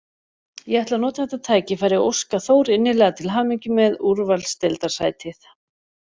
Ég ætla að nota þetta tækifæri og óska Þór innilega til hamingju með úrvalsdeildarsætið.